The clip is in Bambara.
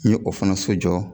N ye o fana so jɔ